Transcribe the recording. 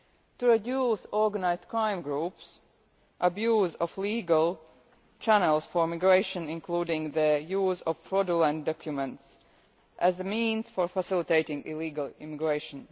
to reduce organised crime groups and the abuse of legal channels for migration, including the use of fraudulent documents as a means for facilitating illegal immigration